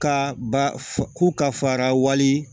Ka ba k'u ka fara wali